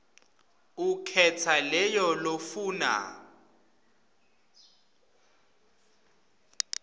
ukhetsa leyo lofuna